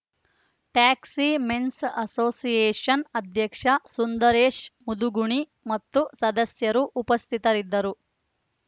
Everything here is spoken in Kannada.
ಟ್ಯಾಕ್ಸಿ ಮೆನ್ಸ್‌ ಅಸೋಸಿಯೇಷನ್‌ ಅಧ್ಯಕ್ಷ ಸುಂದರೇಶ್‌ ಮುದುಗುಣಿ ಮತ್ತು ಸದಸ್ಯರು ಉಪಸ್ಥಿತರಿದ್ದರು